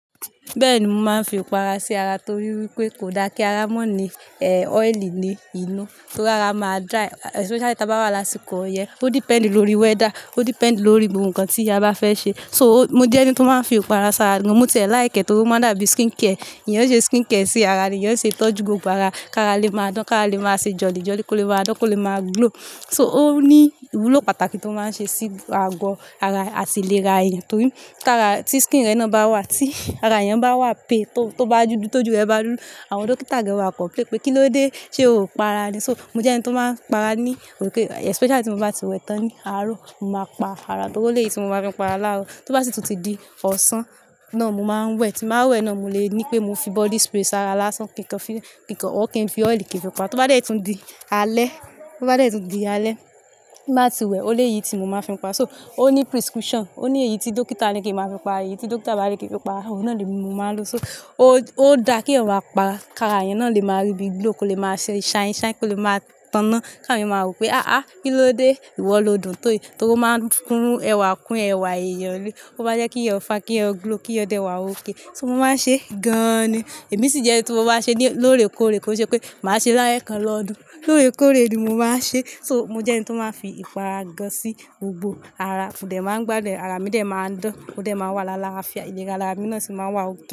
Bẹ́ẹ̀ni, mo máa ń fi ìpara sí ara torí wípé kò da kí ara mọ́ ní, eh, ọ́ìlì ní inú, torí ara máa dry, especially tí a bá wà lásìkò ọyẹ́. Ó depend lórí weather, ó depend lórí gbogbo nkan tí a bá fẹ́ ṣe. So, mo jẹ́ ẹni tó máa ń fi ìpara ṣara. Mo ti ẹ̀ like e torí ó máa dàbí skin care. Èèyàn ṣe skin care sí ara, èèyàn ṣe ìtọ́jú gbogbo ara, kí ara lè máa dán, kí ara lè máa ṣe jolly-jolly, kó lè máa dán, kó lè máa glow. So, ó ní ìwúlò pàtàkì tó máa ń ṣe sí ago ara àti ìlera èèyàn torí tara ti skin rẹ̀ náà bá wà, tí ara yẹn bá wà pale, tó bá dúdú, tójú rẹ bá dúdú, àwọn dókítà gan ma complain, pé kíló dé? Ṣé o pa ara ni? So, mo jẹ́ ẹni tó máa ń para ní òkè, especially tí mo bá ti wẹ tán ní àárọ̀, mo máa pa ara, torí ó le è tí mo máa fi pa ara láàárọ̀. Tó bá sì tún ti di ọ̀sán, náà mo máa ń wẹ. Tí màá wẹ náà mo lè ní pé mo fi body spray ṣara lásán kín kàn file kínkàn ọr kin fi ọ́ìl kin fi pa. Tó bá dé tí ó di alẹ́, tó bá dé tún di alẹ́, tí màá ti wẹ, ó le è yi tí mo máa fi pa. So, ó ní prescription, ó ní èyí tí dókítà le kí ẹ máa fi para, èyí tí dókítà bá le ké fi para, òun náà ni mi mo máa ń lò. So, ó, ó da kí èèyàn máà pa, kí ara yẹn náà lè máa rí bí i glow, kó lè máa ṣe shine-shine, kó lè máa tọ̀nà. Ká àwọn èèyàn máa wò pé, "àà, kíló dé? Ìwọ lo dùn tó yìí" torí ó máa ń kún ẹ̀wà, kún ẹ̀wà èèyàn ni. Ó maá n jẹ́ kí èèyàn fine, kí èèyàn glow, kí èèyàn dẹ̀ wà ókay. So, mo máa ń ṣe gan-an ni. Èmi sì jẹ́ n tí mo bá ṣe ni lóòrèkóòrè kò ṣe pé màá ṣe láyè kan lọ́dún. Lóòrèkóòrè ni mo máa ń ṣe. So, mo jẹ́ ẹni tó máa ń fi ìpara gan sí gbogbo ara. Mo dẹ̀ máa ń gbádùn ẹ, ara mi dẹ̀ máa ń dán, òdẹ̀ máa wà lá lààfíà, ìlera ara mi náà sì máa wà ókay.